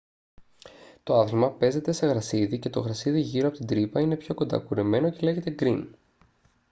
το άθλημα παίζεται σε γρασίδι και το γρασίδι γύρω από την τρύπα είναι πιο κοντά κουρεμένο και λέγεται γκριν